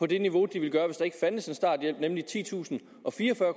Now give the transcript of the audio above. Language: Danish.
det niveau de ville gøre hvis der ikke fandtes en starthjælp nemlig på titusinde og fireogfyrre